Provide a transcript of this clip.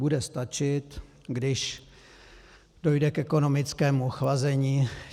Bude stačit, když dojde k ekonomickému ochlazení.